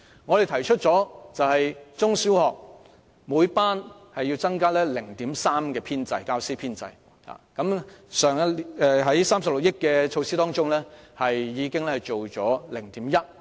我們提出在中小學教師編制方面，每班師生比例要增加 0.3， 而透過去年的36億元撥款，有關比例已增加 0.1。